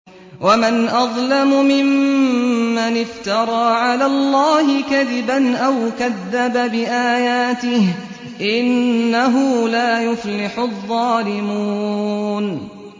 وَمَنْ أَظْلَمُ مِمَّنِ افْتَرَىٰ عَلَى اللَّهِ كَذِبًا أَوْ كَذَّبَ بِآيَاتِهِ ۗ إِنَّهُ لَا يُفْلِحُ الظَّالِمُونَ